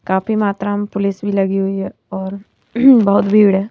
काफी मात्रा में पुलिस भी लगी हुई है और बहुत भीड़ है।